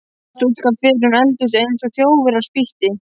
Stúlkan fer um eldhúsið eins og þjófur á spítti.